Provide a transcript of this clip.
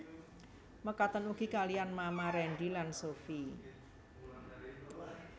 Mekaten ugi kaliyan Mama Rendy lan Sophie